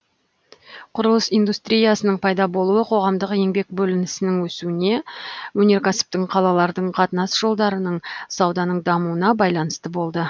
құрылыс индустриясының пайда болуы қоғамдық еңбек бөлінісінің өсуіне өнеркәсіптің қалалардың қатынас жолдарының сауданың дамуына байланысты болды